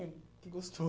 É. Que